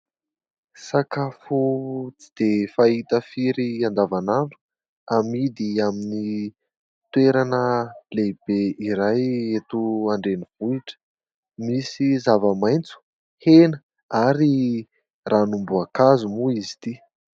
Sakafo tsy dia fahita firy andavan'andro amidy amin'ny toerana lehibe iray eto an-drenivohitra , misy zava-maitso, hena ary ranom-boankazo moa izy ity.